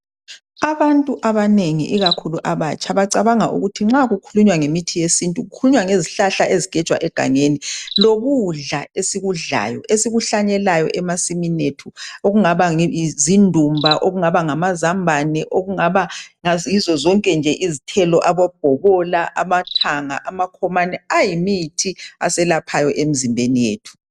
Abantu abanengi ikakhulu abatsha bacabanga ukuthi nxa kukhulunywa ngemithi yesintu kukhulunywa ngezihlahla ezigejwa egangeni. Ukudla esikudlayo esikuhlanyelayo emasimini ethu okungaba zindumba, amazambane, ibhobola, amathanga lamakhomane kuyimithi eselaphayo emizimbeni yethu.